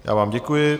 Já vám děkuji.